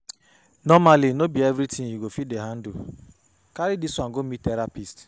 Nomally no be everytin you go fit handle carry this one go meet therapist